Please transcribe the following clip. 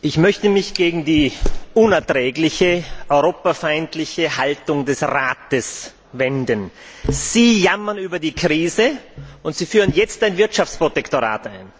Herr Präsident! Ich möchte mich gegen die unerträgliche europafeindliche Haltung des Rates wenden. Sie jammern über die Krise, und Sie führen jetzt ein Wirtschaftsprotektorat ein,